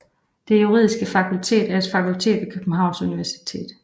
Det Juridiske Fakultet er et fakultet ved Københavns Universitet